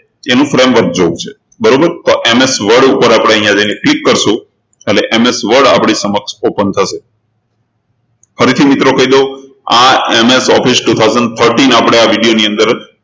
એનું framework જોવું છે બરોબર તો MS Word ની ઉપર જઈને આપણે click કરશું એટલે MS Word આપણી સમક્ષ open થશે ફરીથી મિત્રો કહી દઉં આ MSofficetwo thousand thirteen આપણે આ video ની અંદર